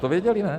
To věděli, ne?